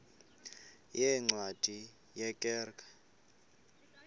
yeencwadi ye kerk